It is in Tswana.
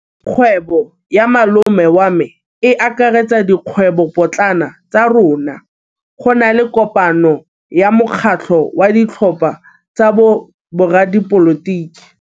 Kgwêbô ya malome wa me e akaretsa dikgwêbôpotlana tsa rona. Go na le kopanô ya mokgatlhô wa ditlhopha tsa boradipolotiki.